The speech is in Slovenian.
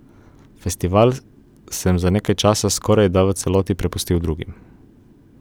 Festival sem za nekaj časa skorajda v celoti prepustil drugim.